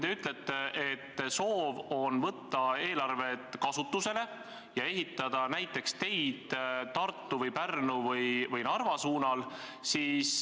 Te ütlete, et soovite võtta eelarved kasutusele ja ehitada näiteks teid Tartu või Pärnu või Narva suunal.